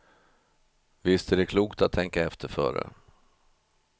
Visst är det klokt att tänka efter före.